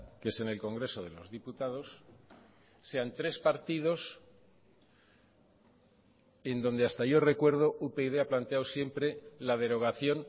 que es en el congreso de los diputados sean tres partidos en donde hasta yo recuerdo upyd ha planteado siempre la derogación